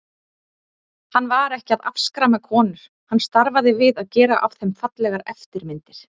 Hann var ekki að afskræma konur, hann starfaði við að gera af þeim fallegar eftirmyndir.